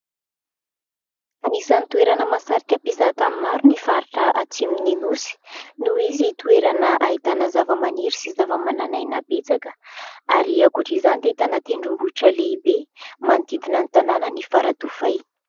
Anisan'ny toerana mahasarika mpizaha tany maro ny faritra atsimon'ny nosy noho izy toerana ahitana zava-maniry sy zava-manan'aina betsaka ary ankoatra izany dia ahitana tendrombohitra lehibe manodidina ny tanàn'i Faradofay.